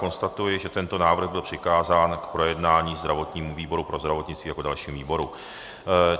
Konstatuji, že tento návrh byl přikázán k projednání zdravotnímu výboru pro zdravotnictví jako dalšímu výboru.